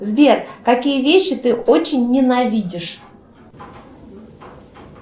сбер какие вещи ты очень ненавидишь